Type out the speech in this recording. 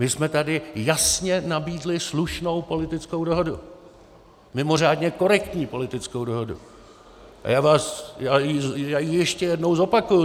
My jsme tady jasně nabídli slušnou politickou dohodu, mimořádně korektní politickou dohodu, a já ji ještě jednou zopakuji.